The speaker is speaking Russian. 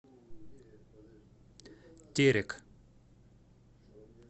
терек